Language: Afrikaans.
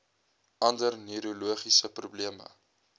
ander neurologiese probleme